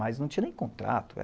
Mas não tinha nem contrato.